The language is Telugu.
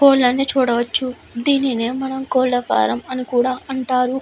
కోళ్లను చూడవచ్చు దీనినే కోళ్ల ఫారం అని కూడా అంటారు.